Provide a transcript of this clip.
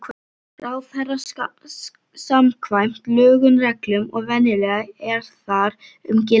ráðherra samkvæmt lögum, reglum og venjum, er þar um gilda.